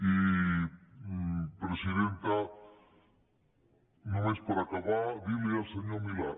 i presidenta només per acabar dir li al senyor milà